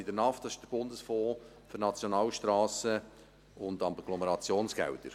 Der NAF ist der Bundesfonds für Nationalstrassen und Agglomerationsgelder.